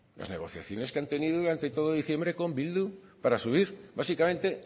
las negociaciones que han tenido durante todo diciembre con bildu para subir básicamente